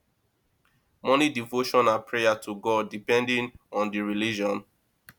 morning devotion and prayer to god depending on di religion